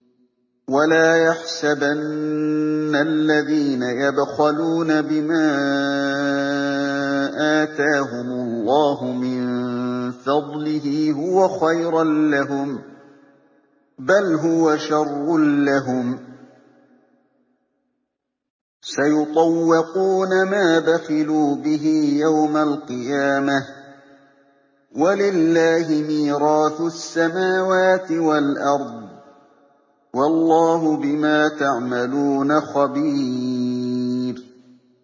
وَلَا يَحْسَبَنَّ الَّذِينَ يَبْخَلُونَ بِمَا آتَاهُمُ اللَّهُ مِن فَضْلِهِ هُوَ خَيْرًا لَّهُم ۖ بَلْ هُوَ شَرٌّ لَّهُمْ ۖ سَيُطَوَّقُونَ مَا بَخِلُوا بِهِ يَوْمَ الْقِيَامَةِ ۗ وَلِلَّهِ مِيرَاثُ السَّمَاوَاتِ وَالْأَرْضِ ۗ وَاللَّهُ بِمَا تَعْمَلُونَ خَبِيرٌ